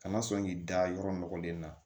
Kana sɔn k'i da yɔrɔ nɔgɔlen na